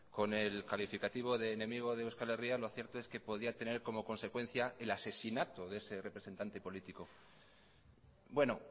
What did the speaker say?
con el calificativo de enemigo de euskal herria lo cierto es que podía tener como consecuencia el asesinato de ese representante político bueno